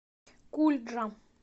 кульджа